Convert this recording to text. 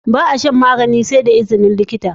Ba a shan magani sai da izini likita